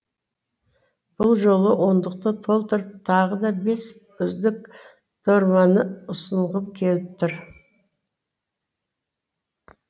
бұл жолы ондықты толтырып тағы да бес үздік дорбаны ұсынғым келіп отыр